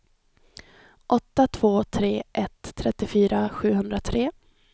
åtta två tre ett trettiofyra sjuhundratre